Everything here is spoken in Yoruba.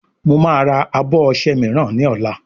Mọ má rà abọ ọṣẹ míràn ní ola